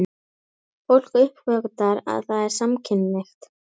Fólk uppgötvar að það er samkynhneigt.